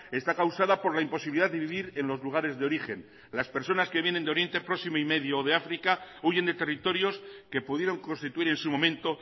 está causada por la imposibilidad de vivir en los lugares de origen las personas que vienen de oriente próximo y medio o de áfrica huyen de territorios que pudieron constituir en su momento